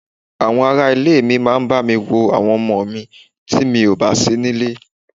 Àwọn ará ilé mi máa bami wo àwọn ọmọ mi ti mi ò bá síní ilé.